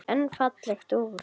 En fallegt úr.